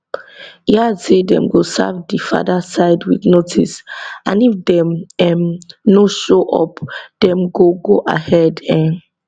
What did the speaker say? e add say dem go serve di father side wit notice and if dem um no show up dem go go ahead um